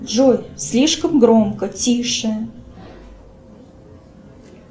джой слишком громко тише